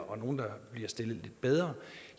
og nogle der bliver stillet lidt bedre